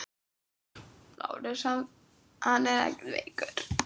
LÁRUS: Hann er ekkert veikur.